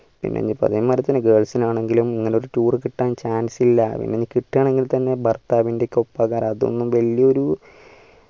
പിന്നെ പറഞ്ഞമ്മാതിരി തന്നെ girls ഇനാണെങ്കിലും ഇങ്ങനെ ഒരു tour കിട്ടാൻ chance ഇല്ല ഇനി കിട്ടണമെങ്കിൽ തന്നെ ഭർത്താവിൻ്റെ ഒപ്പം അത് വലിയൊരു